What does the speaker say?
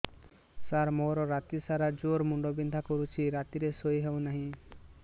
ସାର ମୋର ରାତି ସାରା ଜ୍ଵର ମୁଣ୍ଡ ବିନ୍ଧା କରୁଛି ରାତିରେ ଶୋଇ ହେଉ ନାହିଁ